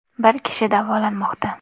Bir kishi davolanmoqda.